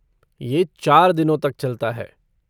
ये चार दिनों तक चलता है।